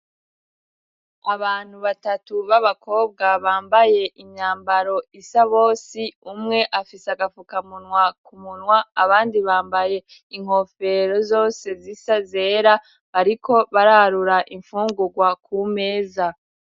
Abantu batatu b'abakobwa bambaye imyambaro isa bose, umwe afise agafukamunwa kumunwa abandi bambaye inkofero zose zisa zera bariko bararura imfungurwa ku meza.